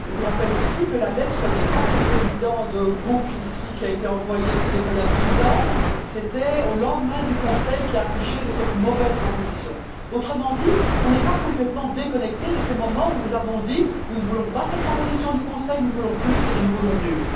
Je vous rappelle aussi que la lettre des quatre présidents de groupe dont il est question il y a dix ans qu'elle a été envoyée, c'était au lendemain du Conseil qui a accouché de cette mauvaise proposition. Autrement dit, nous ne sommes pas complètement déconnectés de ces moments où nous avons dit nous ne voulons pas de cette proposition du Conseil, nous voulons plus et nous voulons mieux.